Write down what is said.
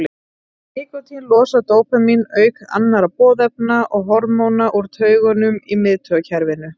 nikótín losar dópamín auk annarra boðefna og hormóna úr taugungum í miðtaugakerfinu